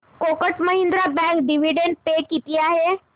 Kotak Mahindra bank dividend pay किती आहे